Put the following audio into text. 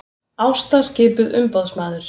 Ásta skipuð umboðsmaður